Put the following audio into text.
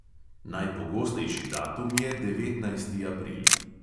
Najpogostejši datum je devetnajsti april.